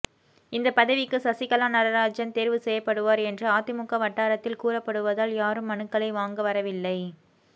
இந்த பதவிக்கு சசிகலா நடராஜன் தேர்வு செய்யப்படுவார் என்று அதிமுக வட்டாரத்தில் கூறப்படுவதால் யாரும் மனுக்களை வாங்க வரவில்லை